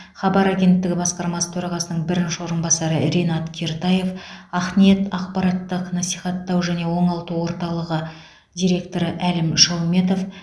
хабар агенттігі басқармасы төрағасының бірінші орынбасары ринат кертаев ақниет ақпараттық насихаттау және оңалту орталығы директоры әлім шауметов